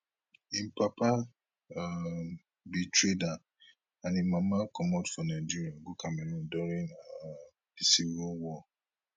im papa um be trader and im mama comot for nigeria go cameroon during um di civil war